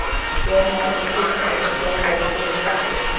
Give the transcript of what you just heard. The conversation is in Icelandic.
Jóhanna Margrét Gísladóttir: Gæti orðið góður slökkviliðsmaður?